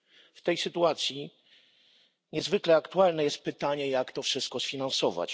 W tej sytuacji niezwykle aktualne jest pytanie jak to wszystko sfinansować?